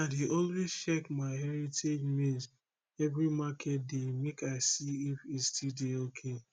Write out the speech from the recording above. i dey always check my heritage maize every market day make i see if e still dey ok